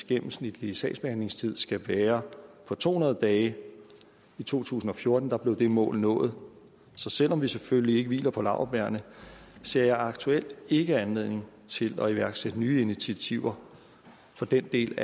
gennemsnitlige sagsbehandlingstid skal være på to hundrede dage i to tusind og fjorten blev det mål nået så selv om vi selvfølgelig ikke hviler på laurbærrene ser jeg aktuelt ikke anledning til at iværksætte nye initiativer for den del